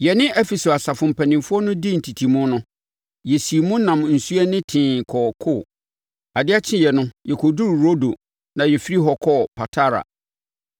Yɛne Efeso asafo mpanimfoɔ no dii ntetemu no, yɛsii mu nam nsuo ani tee kɔɔ Ko. Adeɛ kyeeɛ no, yɛkɔduruu Rodo na yɛfirii hɔ kɔɔ Patara.